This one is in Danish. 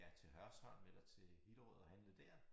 Ja til Hørsholm eller til Hillerød og handle dér